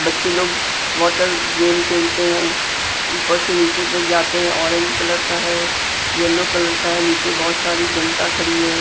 बच्चे लोग water game खेलते हैं ऊपर से नीचे तक जाते हैं ऑरेंज कलर का है येलो कलर का है नीचे बहुत सारी जनता खड़ी है।